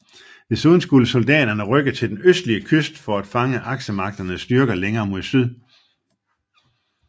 Desuden skulle soldaterne rykke til den østlige kyst for at fange Aksemagternes styrker længere mod syd